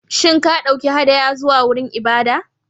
Shin ka ɗauki hadaya zuwa wurin ibada?